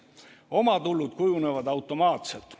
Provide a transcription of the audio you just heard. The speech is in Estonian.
Omatulud kujunevad automaatselt.